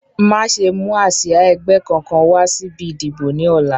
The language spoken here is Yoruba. Má ṣe mú àsia ẹgbẹ́ kankan wá síbi ìdìbò ni ọ̀la